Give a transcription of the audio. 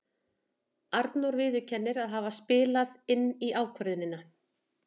Arnór viðurkennir að það hafi spilað inn í ákvörðunina.